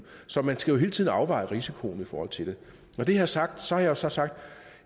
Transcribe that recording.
så man skal jo hele tiden afveje risikoen i forhold til det når det her er sagt har jeg så sagt